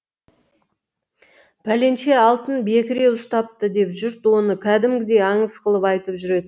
пәленше алтын бекіре ұстапты деп жұрт оны кәдімгідей аңыз қылып айтып жүретін